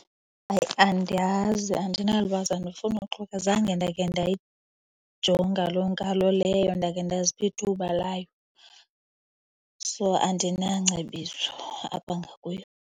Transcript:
Hayi, andiyazi. Andinalwazi, andifunuxoka. Zange ndake ndayijonga loo nkalo leyo, ndake ndazipha ithuba layo. So, andinangcebiso apha ngakuyo.